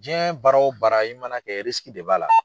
Jiyɛn baara o baara i mana kɛ de b'a la.